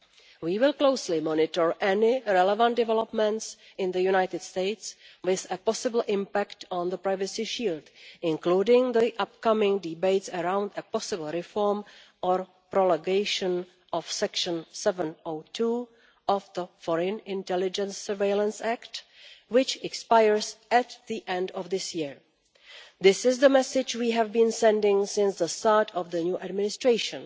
We will closely monitor any relevant developments in the United States with a possible impact on the privacy shield, including the upcoming debates around a possible reform or prolongation of Section 702 of the Foreign Intelligence Surveillance Act, which expires at the end of this year. This is the message we have been sending since the start of the new administration.